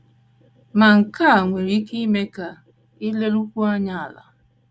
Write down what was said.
Ma, nke a nwere ike ime ka i lerukwuo anya ala.